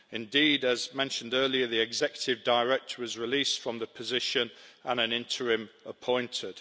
Indeed, as mentioned earlier, the executive director, was released from the position and an interim appointed.